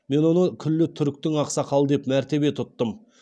мен оны күллі түріктің ақсақалы деп мәртебе тұттым